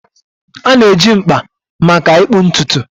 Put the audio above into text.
A na-eji mkpa maka ịkpụ ntutu